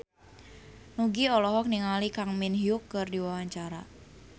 Nugie olohok ningali Kang Min Hyuk keur diwawancara